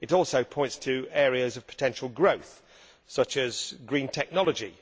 It also points to areas of potential growth such as green technology.